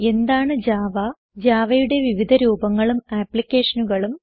എന്താണ് ജാവ Javaയുടെ വിവിധ രൂപങ്ങളും ആപ്ലിക്കേഷനുകളും